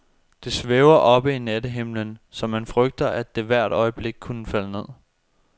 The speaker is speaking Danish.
Det svæver oppe i nattehimlen, så man frygter, at det hvert øjeblik kunne falde ned.